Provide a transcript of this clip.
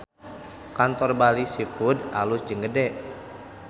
Kantor Bali Seafood alus jeung gede